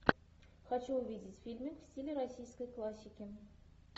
хочу увидеть фильмик в стиле российской классики